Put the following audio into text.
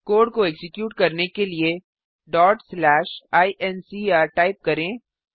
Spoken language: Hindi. कोड को एक्जीक्यूट करने के लिए incr टाइप करें